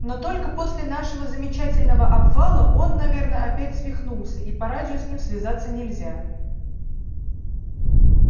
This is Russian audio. но только после нашего замечательного обвала он наверно опять свихнулся и по радио с ним связаться нельзя